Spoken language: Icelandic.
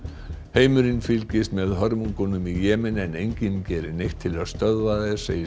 heimurinn fylgist með hörmungum í Jemen en enginn gerir neitt til að stöðva þær segir